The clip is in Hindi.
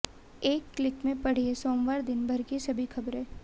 एक क्लिक में पढ़िए सोमवार दिनभर की सभी खबरें